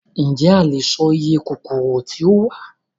Ǹjẹ́ a lè sọ iye kòkòrò tí ó wà?